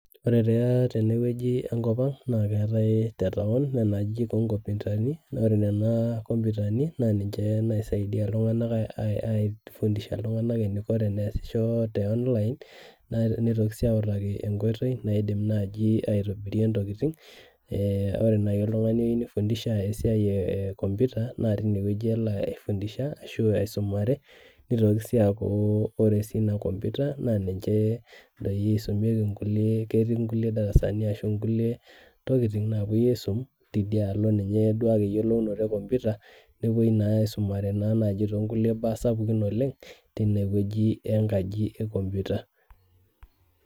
ore taa teneweji tenkopang' naa keetae nena ajijik oonkomputani naa niche naisaidia iltung'anak aifundisha iltung'anak eniko, ore eniko tenesisho te onilin nitoki sii autaki enkoitoi naidim naaji aitobirie intokitin ore naaji oltung'ani oyieu nifundisha esiai teboo , naa tineweji elo aifundisha nitoki sii aaku ore inakompuita naa niche eisumiki kulie darasani ketii nkulie tokitin naaapuoi aisum ninye duake eyiolounoto ekomputa nepuoi naa aisumare toonkulie baa sapukin oleng' , tineweji enkaji ekompuita.